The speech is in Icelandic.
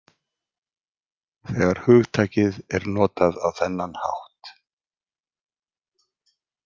Þegar hugtakið er notað á þennan hátt.